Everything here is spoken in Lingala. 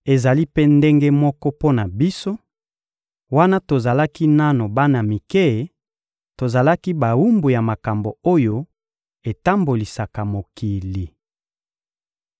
Ezali mpe ndenge moko mpo na biso: wana tozalaki nanu bana mike, tozalaki bawumbu ya makambo oyo etambolisaka mokili.